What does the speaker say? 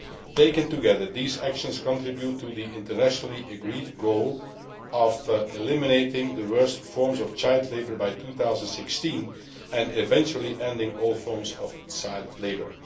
Taken together, these actions contribute to the internationally agreed goal of eliminating the worst forms of child labour by 2016 and eventually ending all forms of child labour.